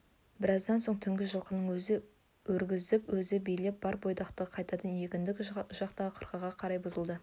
біраздан соң түнгі жылқыны өзі өргізіп өзі билеп бар бойдақты қайтадан егіндік жақтағы қырқаға қарай бұрғызды